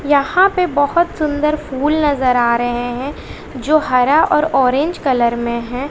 यहां पे बहोत सुंदर फूल नजर आ रहे हैं जो हरा और ऑरेंज कलर में है।